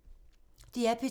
DR P2